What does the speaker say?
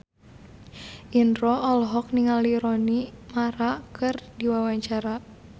Indro olohok ningali Rooney Mara keur diwawancara